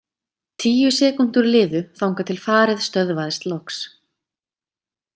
Tíu sekúndur liðu þangað til farið stöðvaðist loks.